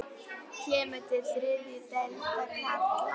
Kemur til þriðju deildar karla?